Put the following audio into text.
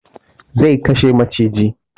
Zai kashe maciji